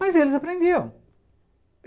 Mas eles aprendiam.